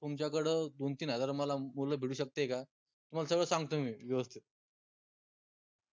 तुमच्याकडं दोन, तीन हजार मला मुलं भेटू शकते का? तुम्हाला सगळं सांगतो मी व्यवस्थित